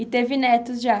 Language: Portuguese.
E teve netos já?